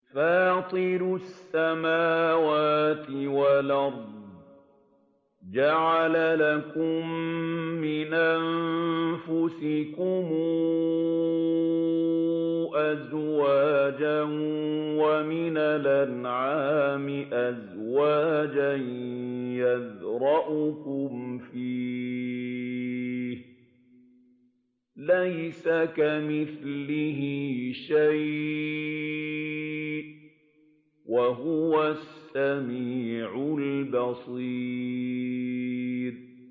فَاطِرُ السَّمَاوَاتِ وَالْأَرْضِ ۚ جَعَلَ لَكُم مِّنْ أَنفُسِكُمْ أَزْوَاجًا وَمِنَ الْأَنْعَامِ أَزْوَاجًا ۖ يَذْرَؤُكُمْ فِيهِ ۚ لَيْسَ كَمِثْلِهِ شَيْءٌ ۖ وَهُوَ السَّمِيعُ الْبَصِيرُ